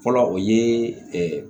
Fɔlɔ o ye